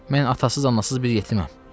Mən atasız-anasız bir yetiməm.